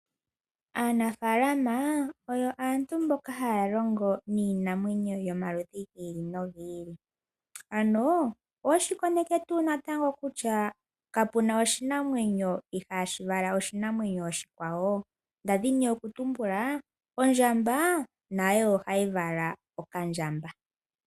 Aanafalama oyo aantu mboka haya longo niinamweyo yomaludhi ga yooloka ano oweshi koneke tuu natango kutya kapu na oshinamwenyo ihashi vala oshinamwenyo oshikwawo nda dhini okutumbula ondjamba nayo ohayi vala okandjamba.